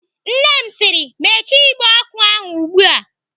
Nne m sịrị "Mechie igbe ọkụ ahụ ugbu a!"